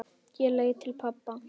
Ég leit til pabba.